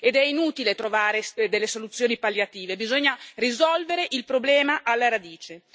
Ed è inutile trovare soluzioni palliative, bisogna risolvere il problema alla radice.